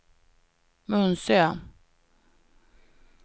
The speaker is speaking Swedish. Munsö